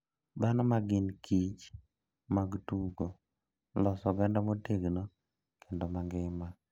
Dhano ma gin kich mag tugo, loso oganda motegno kendo mangima.